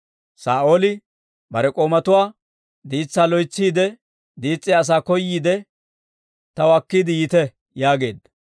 Saa'ooli bare k'oomatuwaa, «Diitsaa loytsiide diis's'iyaa asaa koyiide, taw akkiide yiite» yaageedda.